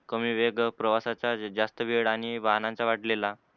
कमी वेग प्रवासचा जास्त वेळ आणि वाहनाचा वाढलेला